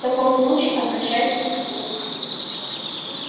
в таком случае обращайтесь в суд